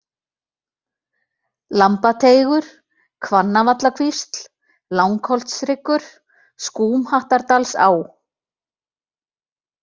Lambateigur, Hvannavallakvísl, Langholtshryggur, Skúmhattardalsá